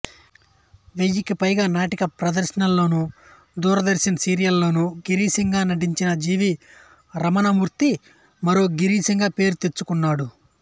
వెయ్యికి పైగా నాటక ప్రదర్శనల్లోనూ దూరదర్శన్ సీరియల్లోనూ గిరీశంగా నటించిన జె వి రమణమూర్తి మరో గిరీశంగా పేరు తెచ్చుకున్నాడు